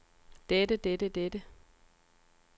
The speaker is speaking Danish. dette dette dette